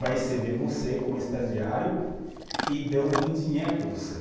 vai receber você como estagiário e algum dinheiro para você.